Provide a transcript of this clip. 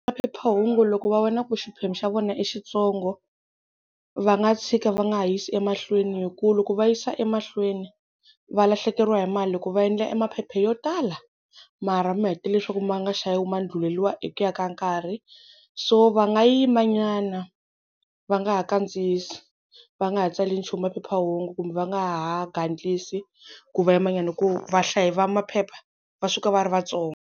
Maphephahungu loko va vona ku xiphemu xa vona i xitsongo va nga tshika va nga ha yisi emahlweni, hi ku loko va yisa emahlweni va lahlekeriwa hi mali hi ku va endla e maphepha yo tala mara ma heta leswaku ma nga xaviwi ma ndluleliwa hi ku ya ka nkarhi, so va nga yimanyana va nga ha kandziyisi va nga ha tsali nchumu maphephahungu kumbe va nga ha gandlisi ku va yimanyana hi ku vahlayi va maphepha va suka va ri vatsongo.